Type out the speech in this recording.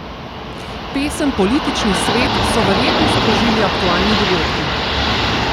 Pesem Politični svet so verjetno sprožili aktualni dogodki.